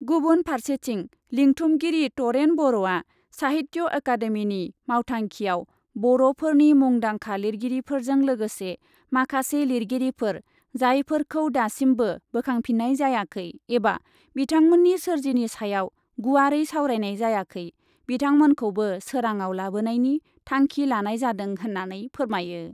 गुबुन फारसेथिं , लिंथुमगिरि तरेन बर'आ साहित्य अकादेमिनि मावथांखियाव बर ' फोरनि मुंदांखा लिरगिरिफोरजों लोगोसे माखासे लिरगिरिफोर जायफोरखौ दासिमबो बोखांफिन्नाय जायाखै एबा बिथांमोननि सोरजिनि सायाव गुवारै सावरायनाय जायाखै बिथांमोनखौबो सोराडाव लाबोनायनि थांखि लानाय जादों होन्नानै फोरमायो ।